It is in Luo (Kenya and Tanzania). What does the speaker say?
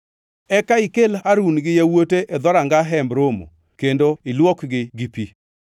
Eka ikel Harun gi yawuote e dhoranga Hemb Romo kendo ilwokgi gi pi.